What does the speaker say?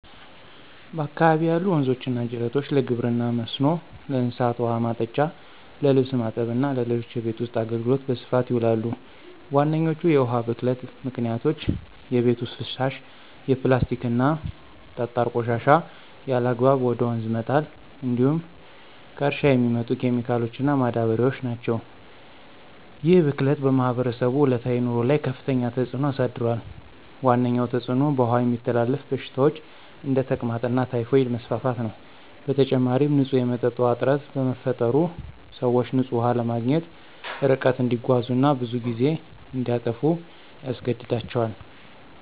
በአካባቢዬ ያሉ ወንዞችና ጅረቶች ለግብርና መስኖ፣ ለእንስሳት ውኃ ማጠጫ፣ ለልብስ ማጠብ እና ለሌሎች የቤት ውስጥ አገልግሎት በስፋት ይውላሉ። ዋነኞቹ የውሃ ብክለት ምክንያቶች የቤት ውስጥ ፍሳሽ፣ የፕላስቲክና ጠጣር ቆሻሻ ያለአግባብ ወደ ወንዝ መጣል እንዲሁም ከእርሻ የሚመጡ ኬሚካሎችና ማዳበሪያዎች ናቸው። ይህ ብክለት በማህበረሰቡ ዕለታዊ ኑሮ ላይ ከፍተኛ ተጽዕኖ አሳድሯል። ዋነኛው ተጽዕኖ በውሃ የሚተላለፉ በሽታዎች (እንደ ተቅማጥና ታይፎይድ) መስፋፋት ነው። በተጨማሪም፣ ንጹህ የመጠጥ ውሃ እጥረት በመፈጠሩ፣ ሰዎች ንጹህ ውሃ ለማግኘት ርቀት እንዲጓዙ እና ብዙ ጊዜ እንዲያጠፉ ያስገድዳቸዋል።